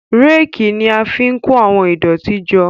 Réèkì ni a fi ń kó àwọn ìdọ̀tí jọ.